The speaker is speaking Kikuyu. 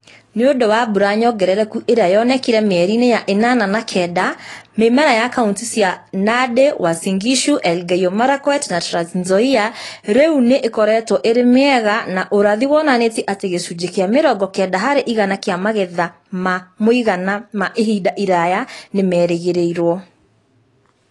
Nĩ ũndũ wa mbura nyongerereku iria yonekire mĩeriinĩ ya inyanya na kenda, mĩmera ya kauntĩ cia Nandi, Uasin Gishu, Elgeyo Marakwet na Trans Nzoia rĩu nĩ ĩkoretwo ĩrĩ mĩega na ũrathi wonanĩtie atĩ gĩcunjĩ kĩa mĩrongo kenda harĩ igana kĩa magetha ma mũigana ma ihinda iraya nĩ merĩgĩrĩrũo.